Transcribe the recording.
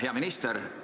Hea minister!